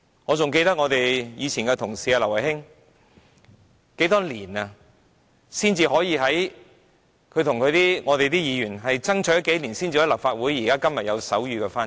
我還記得以前的同事劉慧卿，她與其他議員同事不知爭取了多少年，才讓立法會會議增添手語傳譯。